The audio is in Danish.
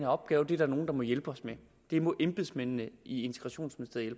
opgave det er der nogle der må hjælpe os med det må embedsmændene i integrationsministeriet